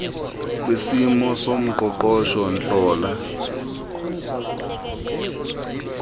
kisimo soqoqosho ntlalo